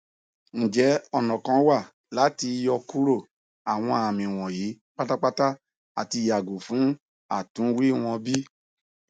njẹ ọna kan wa lati yọkuro awọn ami wọnyi patapata ati yago fun atunwi wọn bi